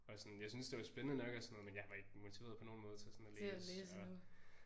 Og sådan jeg syntes det var spændende nok og sådan noget men jeg var ikke motiveret på nogen måde til sådan at læse og